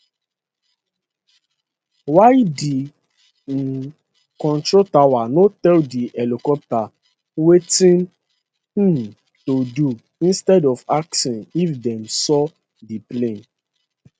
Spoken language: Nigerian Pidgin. why di um control tower no tell di helicopter wetin um to do instead of asking if dem saw di plane